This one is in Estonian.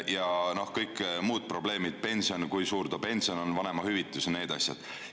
Ja kõik muud probleemid: kui suur ta pension on, vanemahüvitis, need asjad.